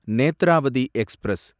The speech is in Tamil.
நேத்ராவதி எக்ஸ்பிரஸ்